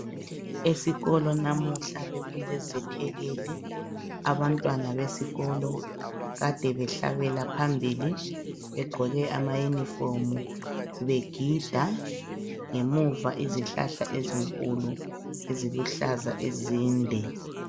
Esikolo namuhla bekule zethekeli, abantwana besikolo kade behlabela phambili begqoke ama yunifomi begida ,ngemuva izihlahla ezinkulu eziluhlaza ezinde.